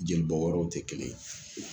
Jeli bɔ wɔrɔw te kelen ye.